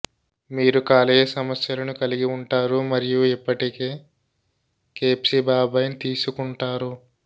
మీరు కాలేయ సమస్యలను కలిగి ఉంటారు మరియు ఇప్పటికే కేప్సిబాబైన్ తీసుకుంటారు